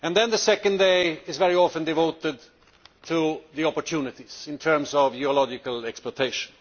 The second day is very often devoted to opportunities in terms of geological exploitation.